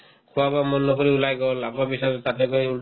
খোৱা-বোৱা মন নকৰি ওলাই গ'ল আকৌ পিছত তাতে গৈ